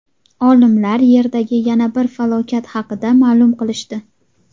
Olimlar Yerdagi yana bir falokat haqida ma’lum qilishdi.